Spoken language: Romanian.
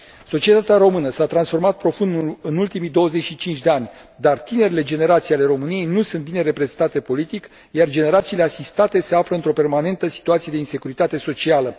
Societatea română s a transformat profund în ultimii 25 de ani, dar tinerele generații ale României nu sunt bine reprezentate politic, iar generațiile asistate se află într o permanentă situație de insecuritate socială.